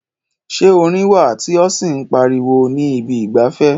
Ṣé orin wà tí ó sì ń pariwo ní ibi ìgbafẹ́?